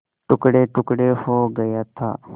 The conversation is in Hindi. टुकड़ेटुकड़े हो गया था